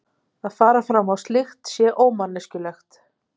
Að fara fram á slíkt sé ómanneskjulegt.